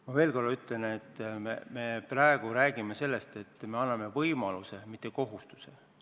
Ma veel kord ütlen, et praegu me räägime sellest, et me anname võimaluse, mitte kohustuse.